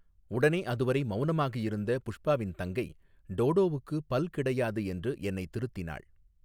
உடனே அதுவரை மௌனமாக இருந்த புஷ்பாவின் தங்கை டோடோவுக்கு பல் கிடையாது என்று என்னை திருத்தினாள்.